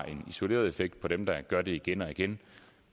en isoleret effekt på dem der gør det igen og igen